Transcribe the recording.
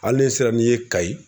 Hali de sira n'i ye kayi.